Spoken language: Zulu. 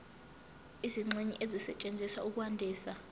izingxenye ezisetshenziswa ukwandisa